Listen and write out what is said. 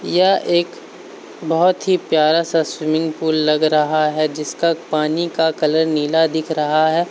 यह एक बहोत ही प्यारा सा स्विमिंग पुल लग रहा है। जिसका पानी का कलर नीला दिख रहा है।